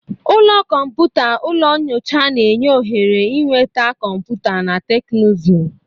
Ụlọ kọmpụta/ụlọ nyocha na-enye ohere ịnweta kọmputa na teknụzụ.